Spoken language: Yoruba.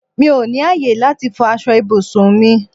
Mí ó ní ayé láti fò aṣọ ibùsùn mi